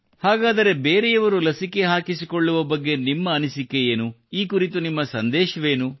ಹಾಗಾದರೆ ಬೇರೆಯವರು ಲಸಿಕೆ ಹಾಕಿಸಿಕೊಳ್ಳುವ ಬಗ್ಗೆ ನಿಮ್ಮ ಅನಿಸಿಕೆಯೇನು ಈ ಕುರಿತು ನಿಮ್ಮ ಸಂದೇಶವೇನು